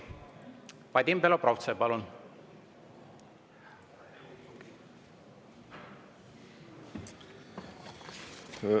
Vadim Belobrovtsev, palun!